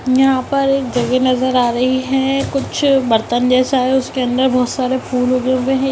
यहां पर एक जगह नजर आ रही है कुछ बर्तन जैसा है उसके अंदर बहुत सारा फूल उगे हुए हैं।